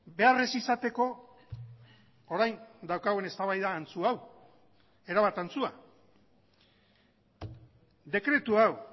behar ez izateko orain daukagun eztabaida antzu hau erabat antzua dekretu hau